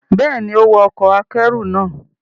Bẹ́ẹ̀ ni, ó wa ọkọ̀ akẹ́rù náà